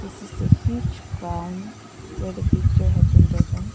This is a huge ground where the picture have been taken.